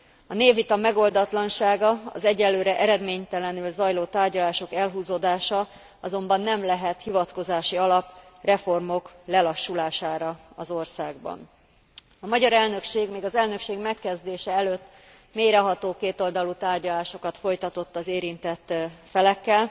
A névvita megoldatlansága, az egyelőre eredménytelenül zajló tárgyalások elhúzódása azonban nem lehet hivatkozási alap a reformok lelassulására az országban. A magyar elnökség még az elnökség megkezdése előtt mélyreható kétoldalú tárgyalásokat folytatott az érintett felekkel,